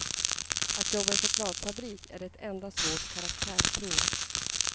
Att jobba i chokladfabrik är ett enda svårt karaktärsprov.